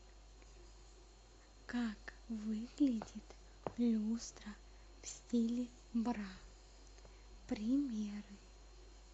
как выглядит люстра в стиле бра примеры